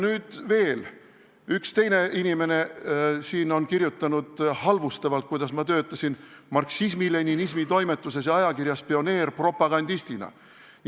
Nüüd, üks teine inimene on kirjutanud halvustavalt, kuidas ma töötasin marksismi-leninismi kirjanduse toimetuses ja ajakirjas Pioneer propagandistina.